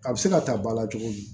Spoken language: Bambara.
A bɛ se ka ta ba la cogo di